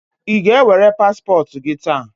Ị ga-ewere paspọtụ gị taa?